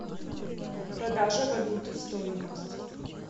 продажа валюты стоимость